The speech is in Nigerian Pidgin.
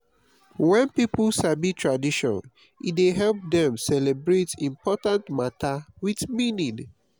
wen pipo sabi tradition e dey help dem celebrate important mata wit meaning.